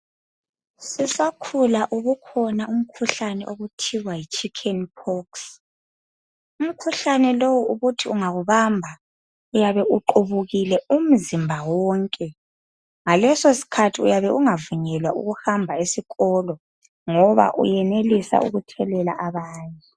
Sisakhula ubukhona umkhuhlane okuthiwa yi chickenpox. Umkhuhlane lowu ubuthi ungakubamba uyabe uqubukile umzimba wonke. Ngaleso sikhathi uyabe ungavunyelwa ukuhamba esikolo ngoba uyenelisa ukuthelela abanye.